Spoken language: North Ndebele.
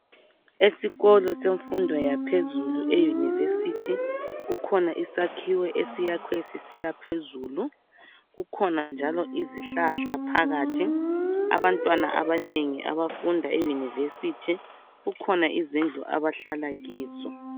Esikolo semfundo yaphezulu eyunivesithi, kukhona isakhiwo esiyakhwe sisiyaphezulu, kukhona njalo izihlahla phakathi. Abantwana abanengi abafunda eyunivesithi kukhona izindlu abahlala kizo.